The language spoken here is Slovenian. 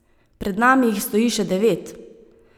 Pred nami jih stoji še devet.